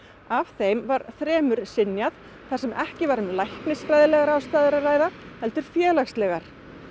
af þeim var þremur synjað þar sem ekki var um læknisfræðilegar ástæður að ræða heldur félagslegar